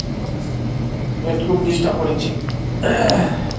wait খুব disturb করেছে .